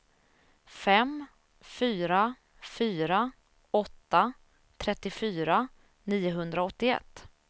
fem fyra fyra åtta trettiofyra niohundraåttioett